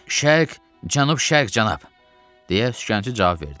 "Şərq, cənub-şərq cənab," - deyə sükançı cavab verdi.